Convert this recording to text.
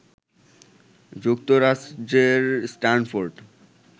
যুক্তরাজ্যের স্টানফোর্ড